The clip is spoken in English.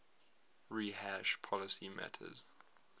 rehash policy matters